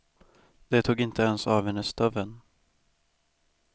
De tog inte ens av henne stöveln.